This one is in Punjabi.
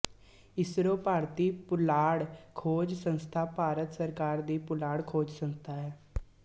ਇਸਰੋ ਭਾਰਤੀ ਪੁਲਾੜ ਖੋਜ ਸੰਸਥਾ ਭਾਰਤ ਸਰਕਾਰ ਦੀ ਪੁਲਾੜ ਖੋਜ ਸੰਸਥਾ ਹੈ